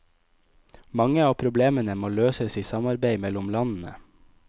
Mange av problemene må løses i samarbeide mellom landene.